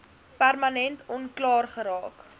permanent onklaar geraak